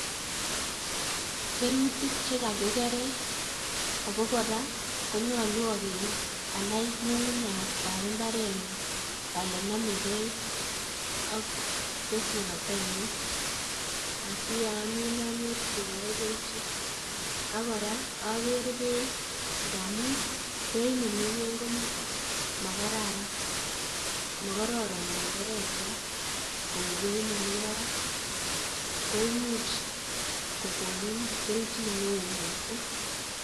Kerutik chekakigere ako kora konyolu ageer anai ng'ung'unyat ap mbaretnyu ale namegei ak keswotoinyu siyaamin anyorchigei kelchin. ak kora ager beeit ngaamun beeit nemi ng'wuny komakararan makararan ndenderek chwai kou beeit nemi barak koimuch kokonin kelchin neoo miising'